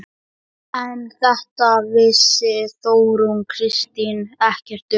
En þetta vissi Þórunn Kristín ekkert um.